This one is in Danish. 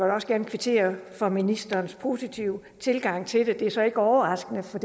da også gerne kvittere for ministerens positive tilgang til det det er så ikke overraskende for